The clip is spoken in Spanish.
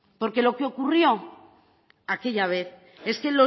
porque lo que ocurrió aquella vez es que